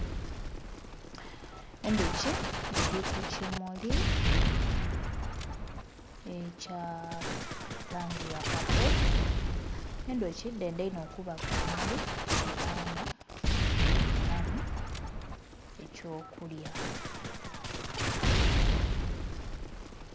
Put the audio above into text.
Endhuki eli ku kimuli ekya langi ya paapo , endhuki dhendha inho okuba ku bimuli kubanga dhifunamu eky'okulya.